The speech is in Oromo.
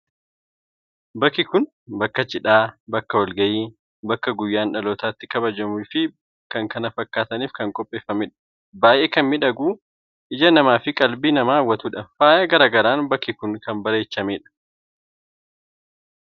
Bakki kun bakka cidhaa, bakka walgahii l,bakka guyyaan dhaalootaa itti kabajamuu fi kan kana fakkaataniif kan qopheeffamedha. Baay'ee kan miidhagu, ija namaa fi qalbii namaa hawwatudha. Faaya gara garaan bakki kun kan bareechamedha.